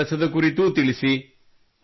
ತಮ್ಮ ಕೆಲಸದ ಕುರಿತು ತಿಳಿಸಿ